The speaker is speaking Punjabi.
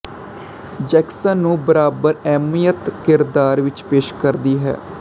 ਜੈਕਸਨ ਨੂੰ ਬਰਾਬਰ ਅਹਿਮੀਅਤ ਕਿਰਦਾਰ ਵਿੱਚ ਪੇਸ਼ ਕਰਦੀ ਹੈ